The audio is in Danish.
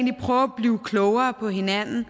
prøve at blive klogere på hinanden